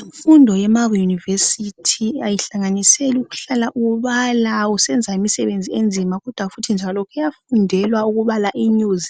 Imfundo yema university ayihlanganisela ukuhlala ubala usenza imisebenzi enzima kodwa futhi njalo kuyafundelwa ukubala inews ,